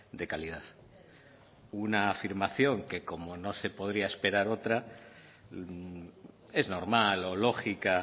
de calidad una afirmación que como no se podría esperar otra es normal o lógica